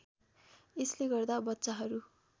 यसले गर्दा बच्चाहरू